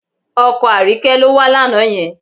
Ọkọ Àríkẹ́ ló wá lánàá yẹn